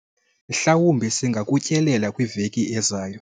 mhlawumbi singakutyelela kwiveki ezayo